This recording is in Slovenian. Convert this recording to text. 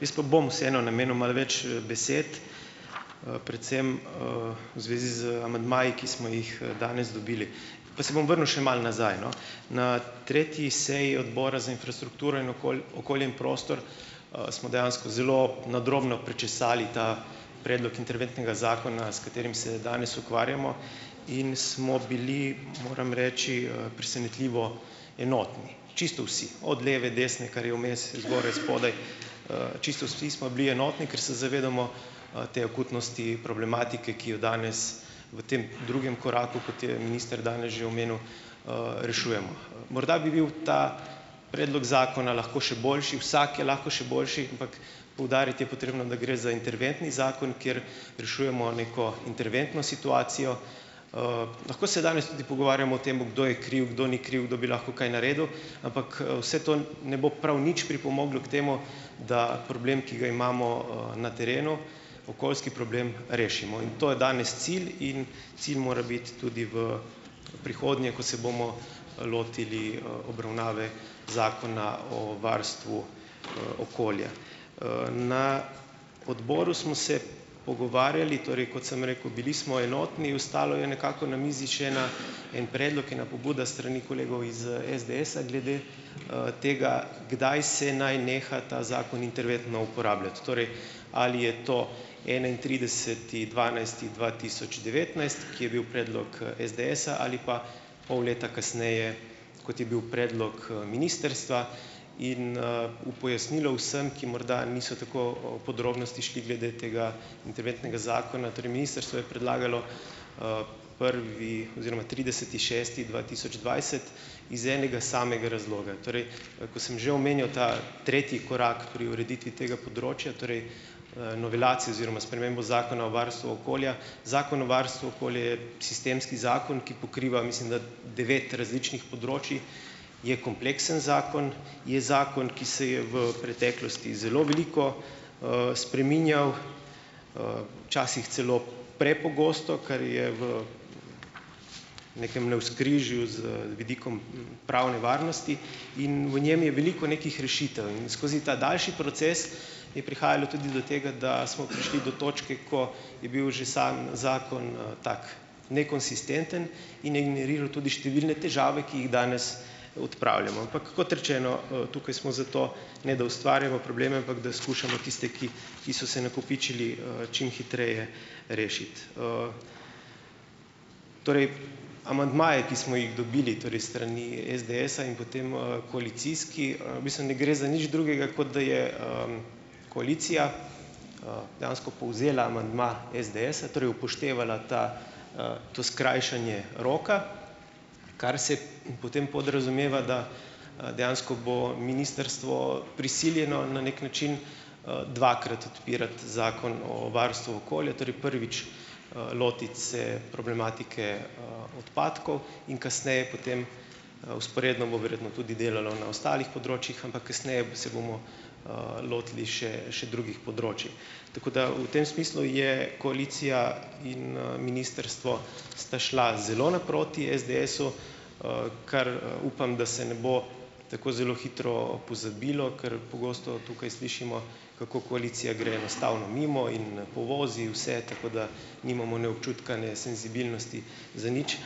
Jaz pa bom vseeno namenu malo več, besed, predvsem, zvezi z amandmaji, ki smo jih, danes dobili. Pa se bom vrnil še malo nazaj, no. Na tretji seji odbora za infrastrukturo, in okolje in prostor, smo dejansko zelo nadrobno prečesali ta predlog interventnega zakona, s katerim se danes ukvarjamo, in smo bili, moram reči, presenetljivo enotni. Čisto vsi. Od leve, desne, kar je vmes, zgoraj, spodaj, čisto vsi smo bili enotni, ker se zavedamo, te akutnosti problematike, ki jo danes v tem drugem koraku, kot je minister že danes omenil, rešujemo. Morda bi bil ta predlog zakona lahko še boljši, vsak je lahko še boljši, ampak poudariti je potrebno, da gre za interventni zakon, kjer rešujemo neko interventno situacijo. Lahko se danes tudi pogovarjamo o tem, kdo je kriv, kdo ni kriv, kdo bi lahko kaj naredil, ampak, vse to ne bo prav nič pripomoglo k temu, da problem, ki ga imamo, na terenu, okoljski problem, rešimo. In to je danes cilj in cilj mora biti tudi v prihodnje, ko se bomo, lotili, obravnave zakona o varstvu, okolja. Na odboru smo se pogovarjali, torej kot sem rekel, bili smo enotni, ostalo je nekako na mizi še ena en predlog, ena pobuda s strani kolegov iz, SDS-a in glede, tega, kdaj se naj neha ta zakon interventno uporabljati. Torej, ali je to enaintrideseti dvanajsti dva tisoč devetnajst, ki je bil predlog, SDS-a, ali pa pol leta kasneje, kot je bil predlog, ministrstva in, v pojasnilo vsem, ki morda niso tako o podrobnosti šli glede tega interventnega zakona. Torej ministrstvo je predlagalo, prvi oziroma trideseti šesti dva tisoč dvajset iz enega samega razloga; torej, ko sem že omenjal ta tretji korak pri ureditvi tega področja, torej, novelacije oziroma spremembo Zakona o varstvu okolja, Zakon o varstvu okolja je sistemski zakon, ki pokriva, mislim, da devet različnih področij. Je kompleksen zakon, je zakon, ki se je v preteklosti zelo veliko, spreminjal, včasih celo prepogosto, kar je v nekem navzkrižju z vidikom pravne varnosti in v njem je veliko nekih rešitev. In skozi ta daljši proces je prihajalo tudi do tega, da smo prišli do točke, ko je bil že sam zakon, tako nekonsistenten in je generiral tudi številne težave, ki jih danes odpravljamo. Ampak kot rečeno, tukaj smo zato, ne da ustvarjamo probleme, ampak da skušamo tiste, ki ki so se nakopičili, čim hitreje rešiti. Torej amandmaji, ki smo jih dobili torej s strani SDS-a, in potem, koalicijski, v bistvu ne gre za nič drugega, kot da je, koalicija, dejansko povzela amandma SDS-a, torej upoštevala ta, to skrajšanje roka, kar se potem podrazumeva, da, dejansko bo ministrstvo prisiljeno na neki način, dvakrat odpirati Zakon o varstvu okolja. Torej prvič, lotiti se problematike, odpadkov in kasneje potem, vzporedno bo verjetno tudi delalo na ostalih področjih, ampak kasneje se bomo, lotili še še drugih področij. Tako da v tem smislu je koalicija in, ministrstvo, sta šla zelo naproti SDS-u, kar, upam, da se ne bo tako zelo hitro pozabilo, ker pogosto tukaj slišimo, kako koalicija gre enostavno mimo in povozi vse, tako da nimamo ne občutka, ne senzibilnosti za nič.